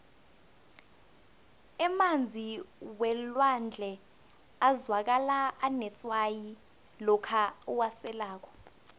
emanzi welwandle azwakala anetswayi lokha uwaselako